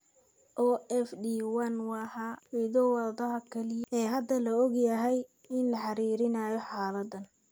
OFD1 waa hiddo-wadaha kaliya ee hadda la og yahay in lala xiriirinayo xaaladdan.